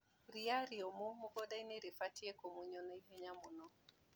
Ria rĩũmũ mũgundainĩ ribatie kũmunywo ihenya mũno.